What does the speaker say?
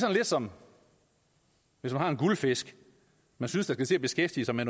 er lidt som hvis man har en guldfisk man synes skal beskæftige sig med